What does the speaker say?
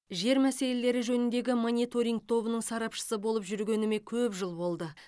жер мәселелері жөніндегі мониторинг тобының сарапшысы болып жүргеніме көп жыл болды